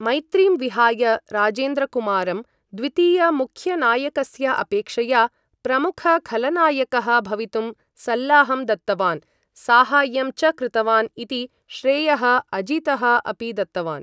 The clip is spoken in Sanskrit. मैत्रीं विहाय राजेन्द्रकुमारं द्वितीयमुख्यनायकस्य अपेक्षया प्रमुखखलनायकः भवितुं सल्लाहं दत्तवान्, साहाय्यं च कृतवान् इति श्रेयः अजीतः अपि दत्तवान् ।